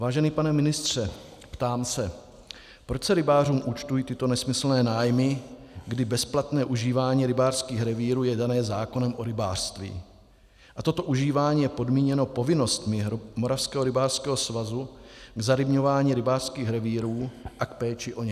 Vážený pane ministře, ptám se, proč se rybářům účtují tyto nesmyslné nájmy, kdy bezplatné užívání rybářských revírů je dané zákonem o rybářství a toto užívání je podmíněno povinnostmi Moravského rybářského svazu k zarybňování rybářských revírů a k péči o ně.